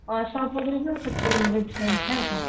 Investment नाही का.